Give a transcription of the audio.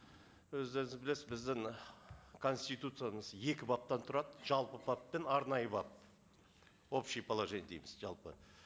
өзіңіз білесіз біздің ы конституциямыз екі баптан тұрады жалпы бап пен арнайы бап общее положение дейміз жалпы